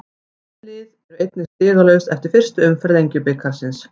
Þessi lið eru einnig stigalaus eftir fyrstu umferð Lengjubikarsins.